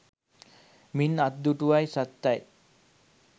මේන් අත්දුටුවයි සත්තයි